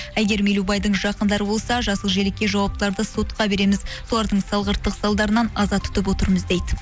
әйгерім елубайдың жақындары болса жасыл желекке жауаптыларды сотқа береміз солардың салғырттық салдарынан аза тұтып отырмыз дейді